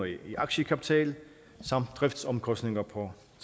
i aktiekapital samt driftsomkostninger på